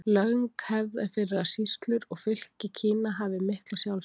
Löng hefð er fyrir að sýslur og fylki Kína hafi mikla sjálfstjórn.